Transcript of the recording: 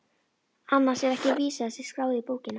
Annars er vísa þessi skráð í bókina